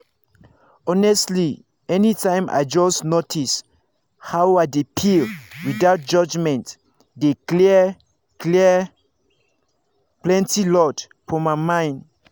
honestly anytime i just notice how i dey feel without judgment e dey clear clear plenty load for my mind.